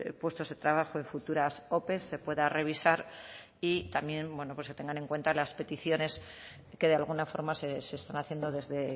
puestos de trabajo de futuras ope se pueda revisar y también bueno pues se tengan en cuenta las peticiones que de alguna forma se están haciendo desde